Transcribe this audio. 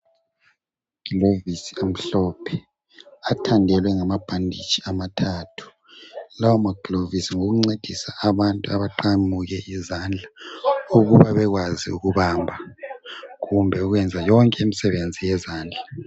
Amaglovisi amhlophe athandelwe ngama bhanditshi amathathu. Lawo maglovisi ngowokuncedisa abantu abaqamuke izandla ukuba bekwazi ukubamba kumbe ukuyenza yonke imisebenzi yezandla.